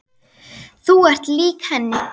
Þú ert lík henni.